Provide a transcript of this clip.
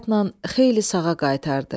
Ehtiyatla xeyli sağa qaytardı.